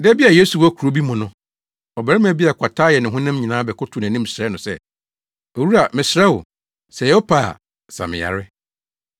Da bi a Yesu wɔ kurow bi mu no, ɔbarima bi a kwata ayɛ ne honam nyinaa bɛkotow nʼanim srɛɛ no sɛ, “Owura, mesrɛ wo, sɛ ɛyɛ wo pɛ a, sa me yare.”